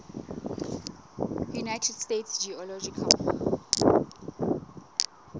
united states geological